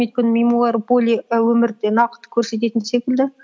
өйткені мемуар более і өмірде нақты көрсететін секілді